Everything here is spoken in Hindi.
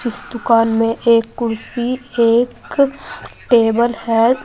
इस दुकान में एक कुर्सी एक टेबल है।